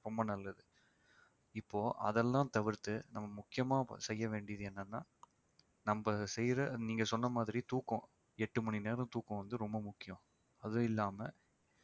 ரொம்ப நல்லது இப்போ அதெல்லாம் தவிர்த்து நம்ம முக்கியமா செய்ய வேண்டியது என்னன்னா நம்ம செய்யற நீங்க சொன்ன மாதிரி தூக்கம் எட்டு மணி நேரம் தூக்கம் வந்து ரொம்ப முக்கியம் அது இல்லாம